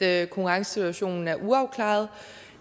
at konkurrencesituationen er uafklaret